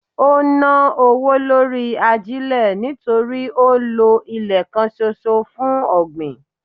Ó ń ná owó lórí ajílẹ̀ nítorí ó ń lọ ilẹ̀ kan ṣoṣo fún ọ̀gbìn.